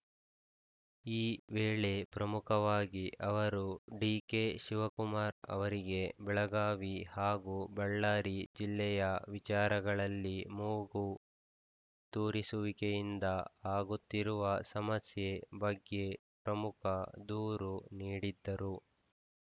ಈ ವೇಳೆ ಪ್ರಮುಖವಾಗಿ ಅವರು ಡಿಕೆ ಶಿವಕುಮಾರ್‌ ಅವರಿಗೆ ಬೆಳಗಾವಿ ಹಾಗೂ ಬಳ್ಳಾರಿ ಜಿಲ್ಲೆಯ ವಿಚಾರಗಳಲ್ಲಿ ಮೂಗು ತೂರಿಸುವಿಕೆಯಿಂದ ಆಗುತ್ತಿರುವ ಸಮಸ್ಯೆ ಬಗ್ಗೆ ಪ್ರಮುಖ ದೂರು ನೀಡಿದ್ದರು